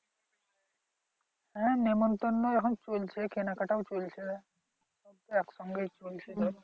হ্যা নিমত্তন্ন এখন চলছে কেনাকাটাও চলছে দুটোই একসঙ্গে চলছে গো।